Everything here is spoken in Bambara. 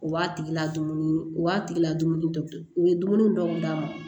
U b'a tigi la dumuni u b'a tigi la dumuni dɔ u ye dumuni dɔw d'a ma